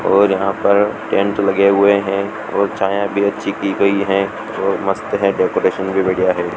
और यहां पर टेंट लगे हुए है और छाया भी अच्छी की गयी है और मस्त है डेकोरेशन भी बढ़िया है।